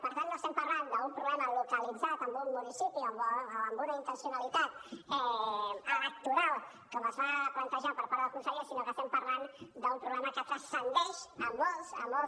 per tant no estem parlant d’un problema localitzat en un municipi o amb una intencionalitat electoral com es va plantejar per part del conseller sinó que estem parlant d’un problema que succeeix a molts a molts